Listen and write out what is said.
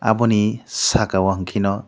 aboni saka o hing khe no.